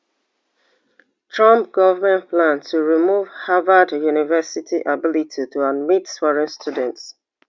trump goment plan to remove harvard university ability to admit foreign students